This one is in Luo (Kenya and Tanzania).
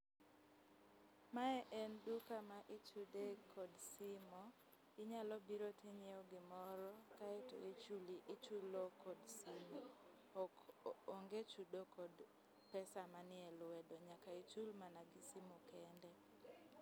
Mae en duka ma ichudo kod simo. Inyalobiro tinyieo gimoro kae to ichulo kod simu onge chudo kod pesa manie lwedo, nyaka ichul mana gi simo kende.